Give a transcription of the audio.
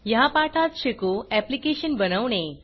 ह्या पाठात शिकू ऍप्लिकेशन बनवणे